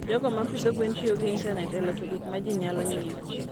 jogo ma pidho gwen tiyo gi intanet e loso gik ma ji nyalo nyiewo.